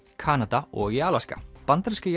Kanada og í Alaska bandaríska